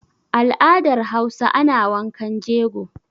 Al'adar Hausa ana wankan jego.